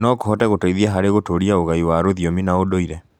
no kũhote gũteithia harĩ gũtũũria ũgai wa rũthiomi na ũndũire.